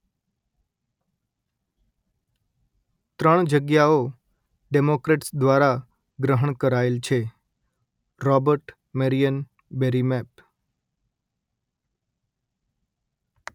ત્રણ જગ્યાઓ ડેમોક્રેટ્સ દ્વારા ગ્રહણ કરાયેલ છે - રોબર્ટ મેરિયન બેરી મેપ